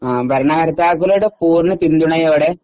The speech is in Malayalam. ഭരണകർത്താക്കളുടെ പൂർണ്ണ പിന്തുണയോടെ